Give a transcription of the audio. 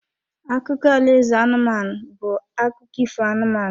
Akụkọ alaeze anụmanụ bụ akụkụ ifo anụmanụ.